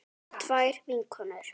Tvær vikur?